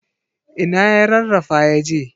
Ina ya rarrafa yaje?